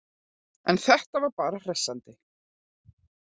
En þetta var bara hressandi!